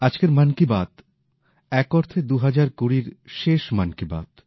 আজকের মন কী বাত এক অর্থে ২০২০ র শেষ মন কী বাত